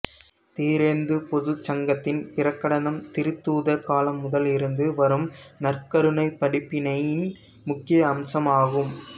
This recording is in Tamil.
திரெந்து பொதுச்சங்கத்தின் பிரகடனம் திருத்தூதர் காலம் முதல் இருந்து வரும் நற்கருணை படிப்பினையின் முக்கிய அம்சமாகும்